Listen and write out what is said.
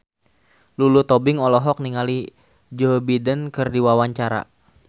Lulu Tobing olohok ningali Joe Biden keur diwawancara